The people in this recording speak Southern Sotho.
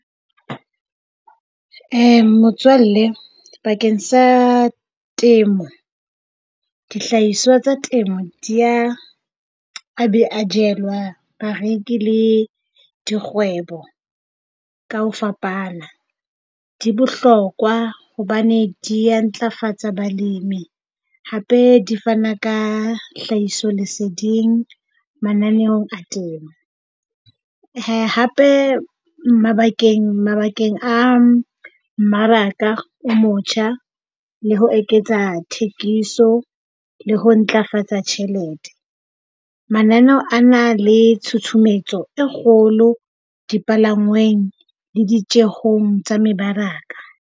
Motswalle, bakeng sa temo, dihlahiswa tsa temo di a a B a jelwe bareki le dikgwebo ka ho fapana. Di bohlokwa hobane di a ntlafatsa balemi hape di fana ka tlhahiso leseding mananeong a temo. Hape mabakeng mabakeng a mmaraka o motjha le ho eketsa thekiso le ho ntlafatsa tjhelete. Mananeo a na le tshutshumetso e kgolo dipalangweng le ditjeong tsa mebaraka.